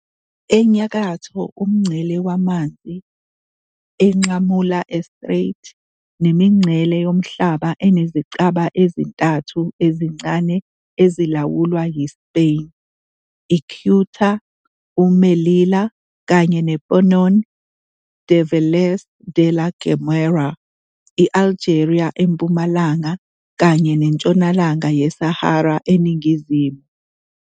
enyakatho, umngcele wamanzi enqamula eStrait nemingcele yomhlaba enezicaba ezintathu ezincane ezilawulwa yiSpain, uCeuta, uMelilla, kanye noPeñon de Vélez de la Gomera, i-Algeria empumalanga, kanye neNtshonalanga yeSahara eningizimu.